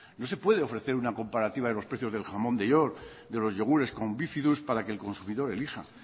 no se puede ofrecer una comparativa de los precios del jamón de york de los yogures con bífidus para que el consumidor elija